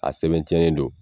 A sɛbɛn ci yalen don.